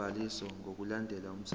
sobhaliso ngokulandela umthetho